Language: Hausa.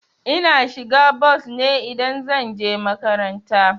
Ina shiga bos ne idan zan je makaranta.